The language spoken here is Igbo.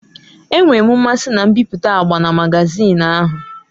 Enwere m mmasị na mbipụta agba na magazin ahụ.